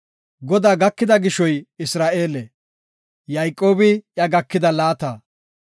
Godaa gakida gishoy Isra7eele; Yayqoobi iya gakida laata.